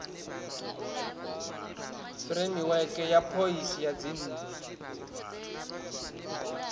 fureimiweke ya phoisi ya dzinnu